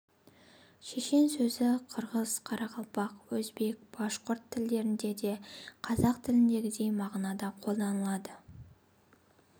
шешен сөзі қырғыз қарақалпақ өзбек башқұрт тілдерінде де қазақ тіліндегідей мағынада қолданылады